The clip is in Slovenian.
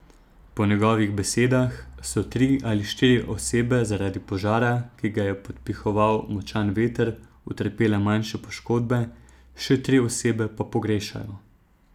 Po njegovih besedah so tri ali štiri osebe zaradi požara, ki ga je podpihoval močan veter, utrpele manjše poškodbe, še tri osebe pa pogrešajo.